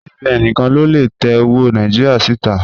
CBN níkan ló lè tẹ́ ọwọ́ Nàìjíríà sí tà.